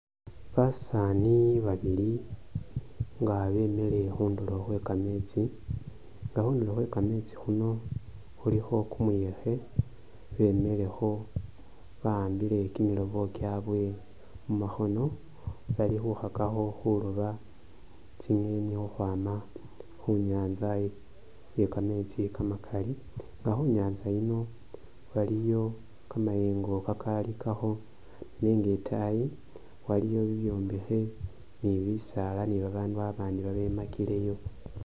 Basani babili nga bemile khudulo khwekameetsi nga khundulo khwekameetsi khuno khulikho kumuyekhe bemilekho bakhambile kimilobo kyabwe mumakhono bali khukakhakho khuloba tsinyeni khukhwama khunyanza yekameetsi kamakali nge khunyatsa yino waliyo kamayengo kakalikakho nenga itaayi waliyo bibyombekhe ni bisaala ni babanu abandi babemakileyo.